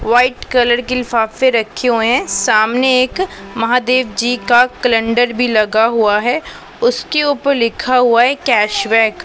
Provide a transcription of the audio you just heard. White colour के लिफाफे रखे हुए सामने एक महादेव जी का क्लनडर भी लगा हुआ है उसके ऊपर लिखा हुआ है कैश बैक ।